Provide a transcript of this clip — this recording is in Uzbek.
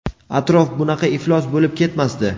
atrof bunaqa iflos bo‘lib ketmasdi.